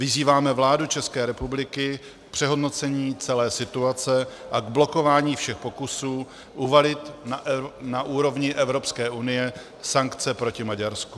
Vyzýváme vládu České republiky k přehodnocení celé situace a k blokování všech pokusů uvalit na úrovni Evropské unie sankce proti Maďarsku."